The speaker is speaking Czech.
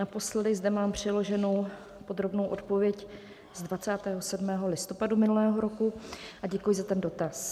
Naposledy zde mám přiloženu podrobnou odpověď z 27. listopadu minulého roku, a děkuji za ten dotaz.